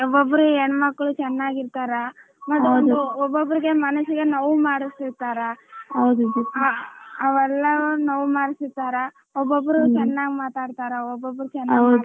ಒಬ್ಬಬ್ಬರು ಹೆಣ್ಣಮಕ್ಕಳು ಚೆನ್ನಾಗಿರತಾರ ಓಬ್ಬಬ್ಬರಿಗೆ ಮನಸ್ಸಿಗೆ ನೋವು ಮಾಡಸ್ತಿರತರ ಅವೆಲ್ಲ ಒಬ್ಬಬ್ಬರು ಚೆನ್ನಾಗ ಮಾತಾಡತರಾ ಒಬ್ಬಬ್ಬರು ಚೆನ್ನಾಗ ಮಾತಾಡಲ್ಲ.